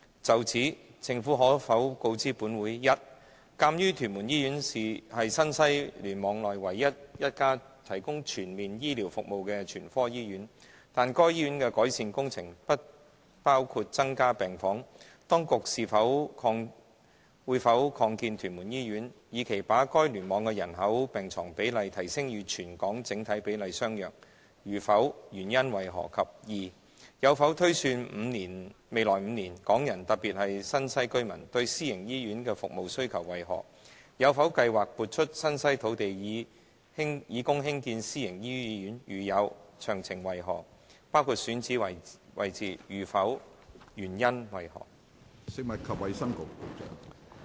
就此，政府可否告知本會：一鑒於屯門醫院是新西聯網內唯一一家提供全面醫療服務的全科醫院，但該醫院的改善工程不包括增加病房，當局會否擴建屯門醫院，以期把該聯網的人口病床比例提升至與全港整體比例相若；如否，原因為何；及二有否推算未來5年，港人對私營醫院的服務需求為何；有否計劃撥出新西土地以供興建私營醫院；如有，詳情為何，包括選址位置；如否，原因為何？